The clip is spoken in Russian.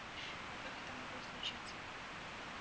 но как это могло случиться